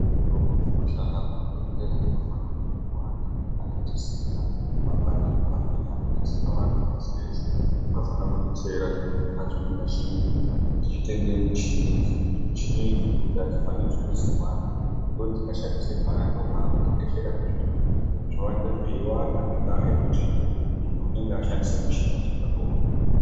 Zvimushini zvidoko zvinoshanda kuzvibhedhela zvinofana kuti zviwande, kana tisina mabhandiko amweni anodetsera vantu pashi reshe anofana kudetsera chibhedhela chimwe ngachimwe kuti chitenge muchini idzi, muchini idzi nekuti adzifaniri kushandisirwana ngekuti dzikashandisirwana ndokwakutekeshera kwezvirwere zvoramba zveiwanda ngendaya yekuti muntu anenge ashandisa muchini wachakabva pane umwe muntu